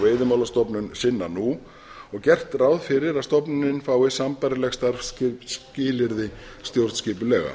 veiðimálastofnun sinna nú og gert ráð fyrir að stofnunin fái sambærileg starfsskilyrði stjórnskipulega